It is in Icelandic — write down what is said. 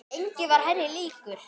Enginn var henni líkur.